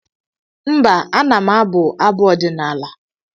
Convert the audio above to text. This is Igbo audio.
mba, ana m abụ abụ ọdịnaala